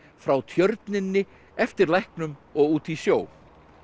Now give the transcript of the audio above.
frá Tjörninni eftir læknum og út í sjó